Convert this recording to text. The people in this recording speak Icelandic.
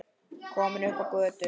Komin upp á götuna.